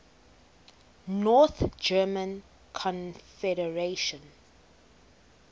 north german confederation